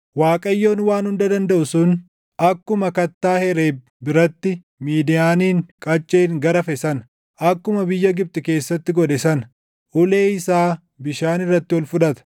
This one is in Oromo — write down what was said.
Waaqayyon Waan Hunda Dandaʼu sun, akkuma kattaa Hereeb biratti Midiyaanin qacceen garafe sana, akkuma biyya Gibxi keessatti godhe sana, ulee isaa bishaan irratti ol fudhata.